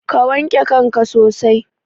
Ka wanke kanka sosai.